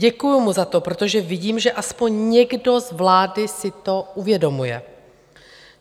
Děkuju mu za to, protože vidím, že aspoň někdo z vlády si to uvědomuje.